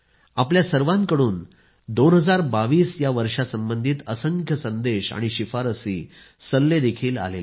आपल्या सर्वांकडून 2022 या वर्षासंबंधित असंख्य संदेश आणि शिफारसी सल्लेही आले आहेत